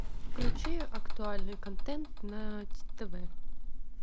включи актуальный контент на тв